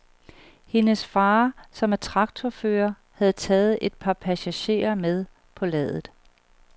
Hendes fader, som er traktorfører, havde taget et par passagerer med på ladet.